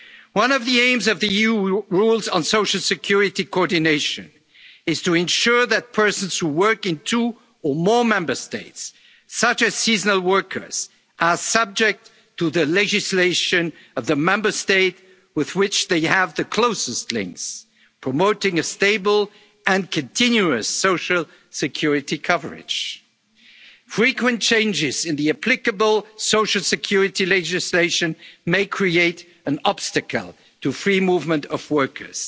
within the Union. One of the aims of the EU rules on social security coordination is to ensure that persons who work in two or more Member States, such as seasonal workers, are subject to the legislation of the Member State with which they have the closest links, promoting stable and continuous social security coverage. Frequent changes in the applicable social security legislation may create an obstacle to the free movement